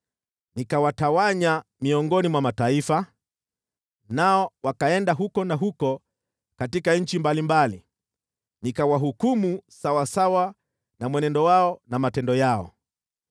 Nikawatawanya miongoni mwa mataifa, nao wakaenda huku na huko katika nchi mbalimbali, nikawahukumu sawasawa na mwenendo wao na matendo yao.